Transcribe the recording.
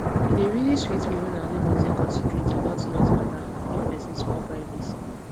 e dey really sweet me when neighbours dey considerate about noise mata and give person small privacy